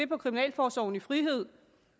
på kriminalforsorgen i frihed